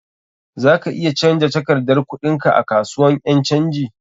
Za ka iya canja takardar kuɗin ka a kasuwan ƴan canji.